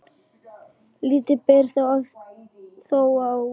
Lítið ber þó á því.